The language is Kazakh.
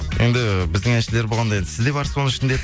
енді біздің әншілер болғанда енді сіз де барсыз ба оның ішінде